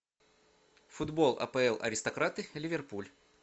футбол апл аристократы ливерпуль